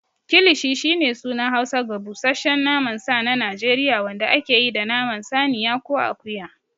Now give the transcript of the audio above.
Kilishi shine sunan Hausa ga busasshen naman sa na Najeriya wanda ake yi da naman saniya ko akuya.